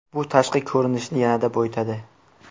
Bu tashqi ko‘rinishni yanada boyitadi.